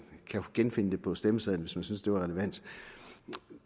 kan genfinde det på stemmesedlen hvis man synes at det er relevant